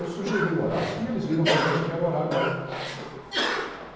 Eu sugeri o horário e eles viram realmente que era o horário bom.